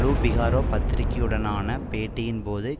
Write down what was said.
லூ Figaro பத்திரிகையுடனான பேட்டியின் போது